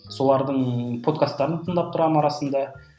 солардың подкастарын тыңдап тұрамын арасында